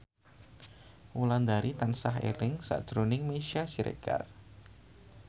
Wulandari tansah eling sakjroning Meisya Siregar